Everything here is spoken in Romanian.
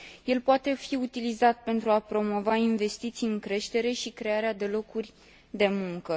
El poate fi utilizat pentru a promova investiții în creștere și crearea de locuri de muncă.